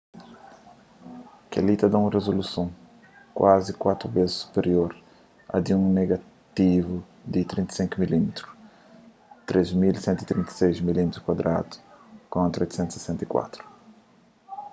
kel-li ta da un rizoluson kuazi kuatu bês superior a di un negativu di 35 mm 3136 mm2 kontra 864